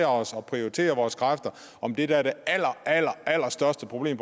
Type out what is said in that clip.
os og prioritere vores kræfter om det der er det allerallerstørste problem